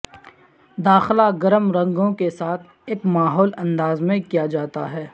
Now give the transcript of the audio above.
داخلہ گرم رنگوں کے ساتھ ایک ماحول انداز میں کیا جاتا ہے